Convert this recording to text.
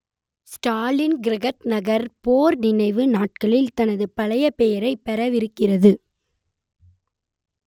Stalingrad நகர் போர் நினைவு நாட்களில் தனது பழைய பெயரைப் பெறவிருக்கிறது